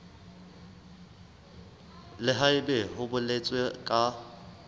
le haebe ho boletswe ka